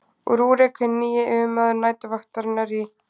rúrík hinn nýji yfirmaður næturvaktarinnar í